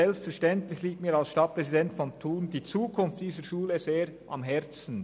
Selbstverständlich liegt mir als Stadtpräsident von Thun die Zukunft dieser Schule sehr am Herzen.